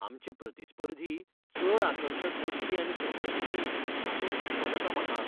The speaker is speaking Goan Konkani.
आमचे प्रतिस्पर्धी चड आकर्शक बडटी आनी सवलती दित हाचो हुसको जाता म्हाका.